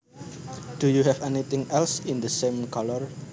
Do you have anything else in the same colour